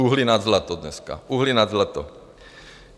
Uhlí nad zlato dneska, uhlí nad zlato.